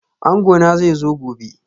Angona zai zo gobe